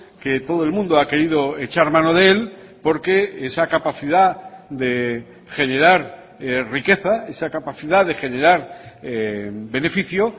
que todo el mundo ha querido echar mano de él porque esa capacidad de generar riqueza esa capacidad de generar beneficio